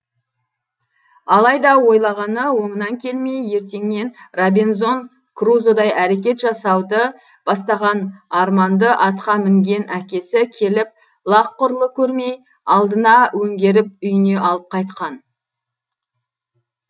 алайда ойлағаны оңынан келмей ертеңнен робинзон крузодай әрекет жасауды бастаған арманды атқа мінген әкесі келіп лақ құрлы көрмей алдына өңгеріп үйіне алып қайтқан